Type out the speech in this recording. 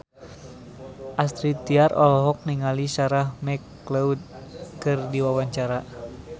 Astrid Tiar olohok ningali Sarah McLeod keur diwawancara